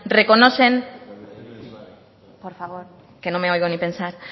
reconocer por favor que no me oigo ni pensar